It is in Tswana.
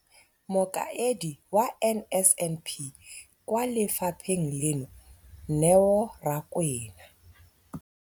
Mokaedi wa NSNP kwa lefapheng leno, Neo Rakwena,